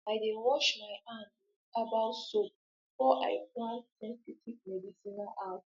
i dey wash my hand with herbal soap before i plant sensitive medicinal herbs